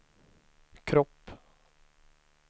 kropp